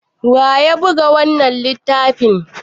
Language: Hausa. waye ya buga wannan littafi?